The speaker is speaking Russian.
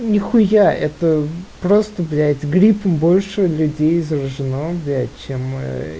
ни хуя это просто блять гриппом больше людей заражено блять чем ээ